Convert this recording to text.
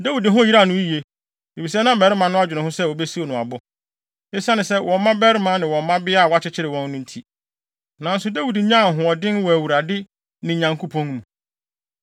Dawid ho yeraw no yiye, efisɛ na mmarima no adwene ho sɛ wobesiw no abo, esiane wɔn mmabarima ne wɔn mmabea a wɔakyekyere wɔn no nti. Nanso Dawid nyaa ahoɔden wɔ Awurade, ne Nyankopɔn mu.